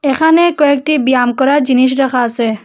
এখানে কয়েকটি ব্যায়াম করার জিনিস রাখা আসে।